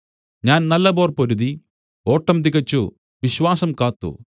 ഞാൻ നല്ല പോർ പൊരുതി ഓട്ടം തികച്ചു വിശ്വാസം കാത്തു